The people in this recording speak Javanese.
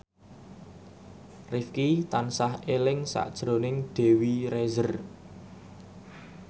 Rifqi tansah eling sakjroning Dewi Rezer